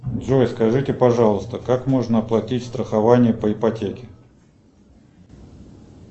джой скажите пожалуйста как можно оплатить страхование по ипотеке